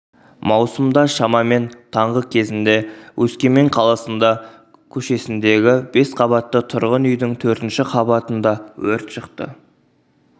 маусымда шамамен таңғы кезінде өскемен қаласында көшесіндегі бес қабатты тұрғын үйдің төртінші қабатында өрт шықты